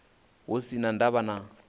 hu si na ndavha na